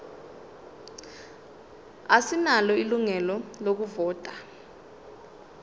asinalo ilungelo lokuvota